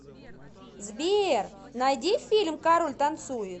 сбер найди фильм король танцует